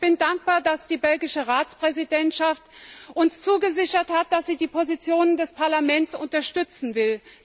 Aber ich bin dankbar, dass die belgische Ratspräsidentschaft uns zugesichert hat, dass sie die Position des Parlaments unterstützen will.